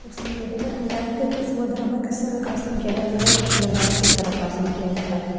उसने यह बताया हुआ है कि किस मुद्रा में किस तरह का आसान किया जाता है और किस मुद्रा में किस तरह का आसान किया जाता है।